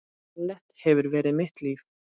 Ballett hefur verið mitt líf